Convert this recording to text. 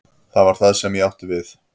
Það var það sem ég átti við.